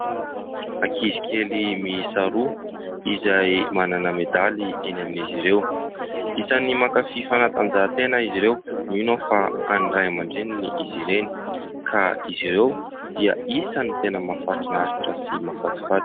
Ankizy kely miisa roa izay manana medaly eny amin'izy ireo. Isan'ny mankafy fanatanjahantena izy ireo, mino aho fa an'ny Ray amandReniny izy ireny ka izy ireo dia isan'ny tena mahafinaritra sy mahafatifaty.